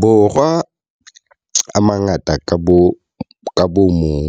Borwa a mangata ka bomong,